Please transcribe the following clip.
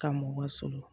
Ka mɔgɔ sɔrɔ